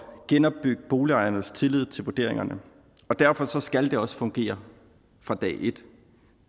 genopbygge boligejernes tillid til vurderingerne og derfor skal det også fungere fra dag et